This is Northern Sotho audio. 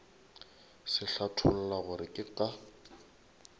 se hlatholla gore ke ka